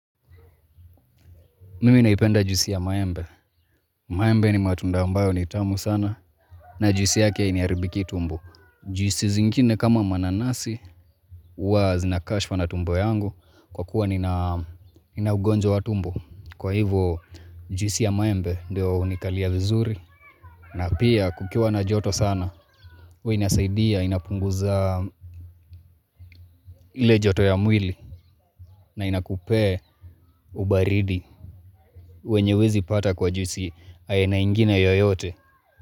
Mimi naipenda juisi ya maembe. Maembe ni matunda ambayo ni tamu sana na juisi yake hainiharibiki tumbo. Juisi zingine kama mananasi, huwa zinakashfa na tumbo yangu kwa kuwa ninaugonjo wa tumbo. Kwa hivo juisi ya maembe ndio hunikalia vizuri. Na pia kukiwa na joto sana, huwa inasaidia, inapunguza ile joto ya mwili na inakupee ubaridi. Wenye huwezi pata kwa juisi aina ingine yoyote.